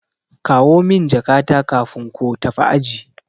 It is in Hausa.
Kawo min jakata kafin ko tafi aji.